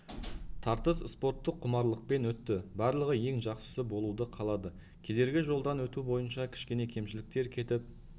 тартыс спорттық құмарлықпен өтті барлығы ең жақсысы болуды қалады кедергі жолдан өту бойынша кішкене кемшіліктер кетіп